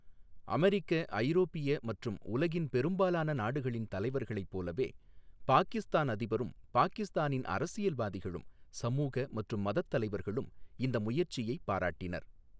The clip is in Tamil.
அமெரிக்க, ஐரோப்பிய மற்றும் உலகின் பெரும்பாலான நாடுகளின் தலைவர்களைப் போலவே, பாகிஸ்தான் அதிபரும் பாகிஸ்தானின் அரசியல்வாதிகளும் சமூக மற்றும் மதத் தலைவர்களும் இந்த முயற்சியை பாராட்டினர்.